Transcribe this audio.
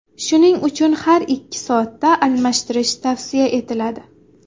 Shuning uchun har ikki soatda almashtirish tavsiya etiladi.